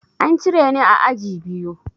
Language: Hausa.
An cire ni a aji biyu.